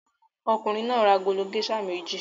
Ọkùnrin náà ra agolo géíṣà méjì.